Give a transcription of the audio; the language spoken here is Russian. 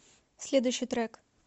следующий трек